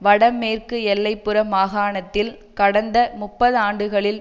வடமேற்கு எல்லை புற மாகாணத்தில் கடந்த முப்பதாண்டுகளில்